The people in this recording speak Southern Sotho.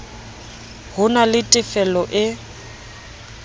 ho na le tefelo e